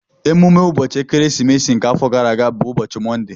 Emume ụbọchị ekeresimesi nke afọ gara aga bụ ụbọchị Mọnde